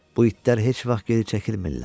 Bu itlər heç vaxt geri çəkilmirlər.